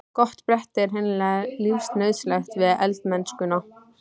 Gott bretti er hreinlega lífsnauðsyn við eldamennskuna.